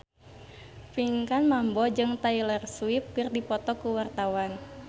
Pinkan Mambo jeung Taylor Swift keur dipoto ku wartawan